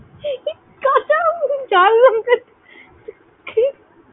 কাঁচা আম ঝাল লঙ্কা দিয়ে